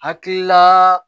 Hakilila